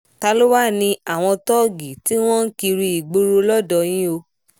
ta ló wáá ní àwọn tóògì tí wọ́n ń kiri ìgboro lodò yìí o